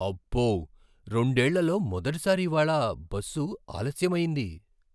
అబ్బో, రెండేళ్లలో మొదటిసారి ఇవాళ్ళ బస్సు ఆలస్యమయ్యింది.